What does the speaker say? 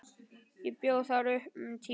Ég bjó þar um tíma.